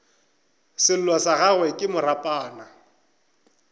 sello sa gagwe ke moropana